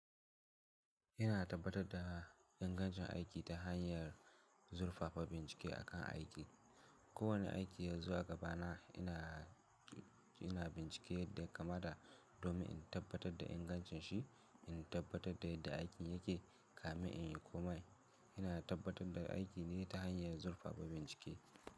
Ina tabbatar da ingancin aiki ta hanyar zurfafa bincike akan aiki. Kowane aiki yanzu a gabana ina, ina bincike yadda kamata domin in tabbatar da ingancin shi, in tabbatar da yadda aikin yake, kame in yi komai. Ina tabbatar da aiki ne ta hanyar zurfafa bincike.